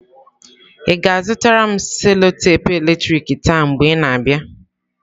Ị ga-azụtara m cello-tepe eletrik taa mgbe ị na-abịa.